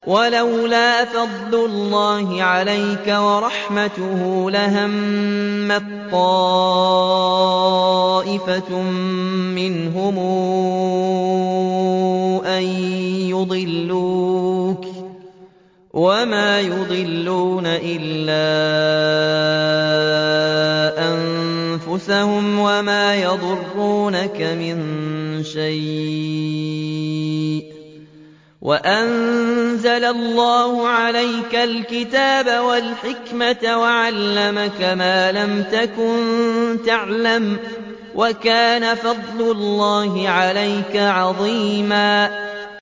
وَلَوْلَا فَضْلُ اللَّهِ عَلَيْكَ وَرَحْمَتُهُ لَهَمَّت طَّائِفَةٌ مِّنْهُمْ أَن يُضِلُّوكَ وَمَا يُضِلُّونَ إِلَّا أَنفُسَهُمْ ۖ وَمَا يَضُرُّونَكَ مِن شَيْءٍ ۚ وَأَنزَلَ اللَّهُ عَلَيْكَ الْكِتَابَ وَالْحِكْمَةَ وَعَلَّمَكَ مَا لَمْ تَكُن تَعْلَمُ ۚ وَكَانَ فَضْلُ اللَّهِ عَلَيْكَ عَظِيمًا